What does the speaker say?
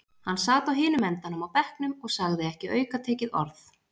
Hann sat á hinum endanum á bekknum og sagði ekki aukatekið orð.